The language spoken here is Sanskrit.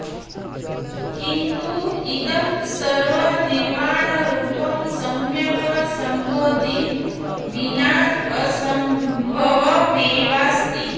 किन्तु इदं सर्वं निर्वाणरूपं सम्यक् सम्बोधिं विना असम्भवमेवास्ति